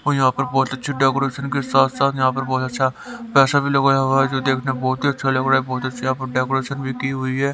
और यहां पर बहुत अच्छे डेकोरेशन के साथ-साथ यहां पर बहुत अच्छा पैसा भी लगाया हुआ है जो देखने बहुत ही अच्छा लग रहा है बहुत अच्छे यहां पर डेकोरेशन भी की हुई है।